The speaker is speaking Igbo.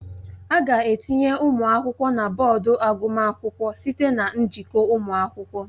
A ga-etinye ụmụ akwụkwọ na bọọdụ agụmakwụkwọ site na njikọ ụmụ akwụkwọ